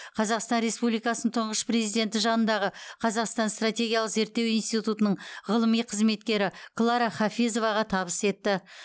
қазақстан республикасын тұңғыш президенті жанындағы қазақстан стратегиялық зерттеу институтының ғылыми қызметкері клара хафизоваға табыс етті